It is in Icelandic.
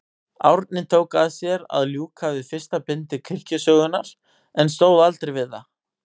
Árni tók að sér að ljúka við fyrsta bindi kirkjusögunnar, en stóð aldrei við það.